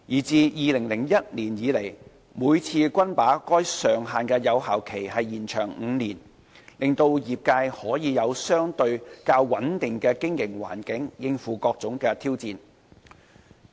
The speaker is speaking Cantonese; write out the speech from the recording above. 自2001年以來，每次均把該上限的有效期延長5年，令業界可以有相對較穩定的經營環境應付各種挑戰。